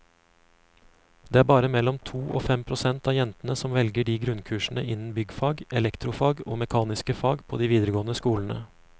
Det er bare mellom to og fem prosent av jentene som velger grunnkursene innen byggfag, elektrofag og mekaniske fag på de videregående skolene.